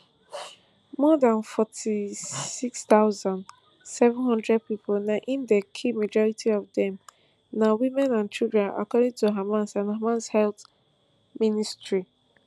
more dan forty-six thousand, seven hundred pipo na im dem kill majority of dem na women and children according to hamas to hamas health ministry